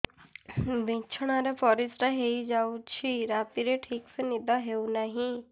ବିଛଣା ରେ ପରିଶ୍ରା ହେଇ ଯାଉଛି ରାତିରେ ଠିକ ସେ ନିଦ ହେଉନାହିଁ